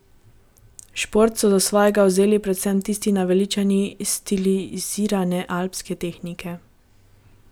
Šport so za svojega vzeli predvsem tisti naveličani stilizirane alpske tehnike.